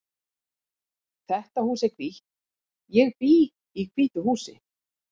Þetta hús er hvítt. Ég bý í hvítu húsi.